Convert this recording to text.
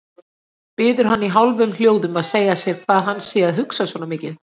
Biður hann í hálfum hljóðum að segja sér hvað hann sé að hugsa svona mikið.